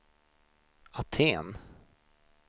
Aten